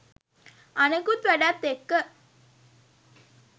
අනෙකුත් වැඩත් එක්ක